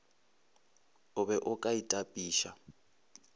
o be o ka itapiša